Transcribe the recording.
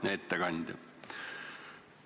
Hea ettekandja!